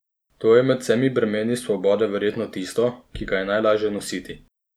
To je med vsemi bremeni svobode verjetno tisto, ki ga je najlažje nositi.